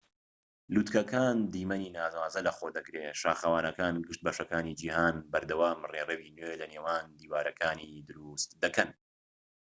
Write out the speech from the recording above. لووتکەکان دیمەنی ناوازە لە خۆ دەگرێت شاخەوانەکان گشت بەشەکانی جیھان بەردەوام ڕێڕەوی نوێ لە نێوان دیوارەکانی دروست دەکەن